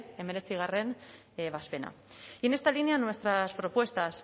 hemeretzigarrena ebazpena y en esta línea nuestras propuestas